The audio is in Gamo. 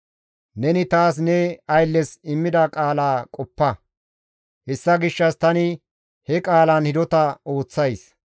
Neni taas ne ayllezas immida qaala qoppa; hessa gishshas tani he qaalan hidota ooththays.